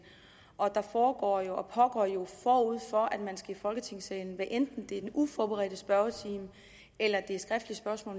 og der foregår jo forud for at man skal i folketingssalen hvad enten det er den uforberedte spørgetime eller det er skriftlige spørgsmål